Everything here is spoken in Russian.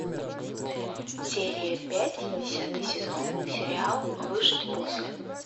серия пять десятый сезон сериал выжить после